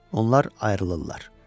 Onlar ayrılırlar.